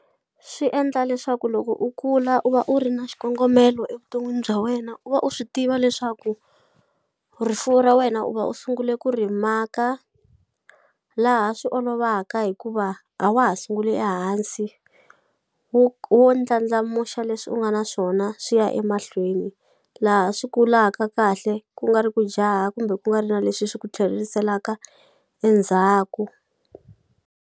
Swi endla leswaku loko u kula u va u ri na xikongomelo evuton'wini bya wena u va u swi tiva leswaku rifuwo ra wena u va u sungule ku ri maka laha swi olovaka hikuva a wa ha sunguli ehansi wo ndlandlamuxa leswi u nga na swona swi ya emahlweni laha swi kulaka kahle ku nga ri ku jaha kumbe ku nga ri na leswi swi ku tlheriselaka endzhaku.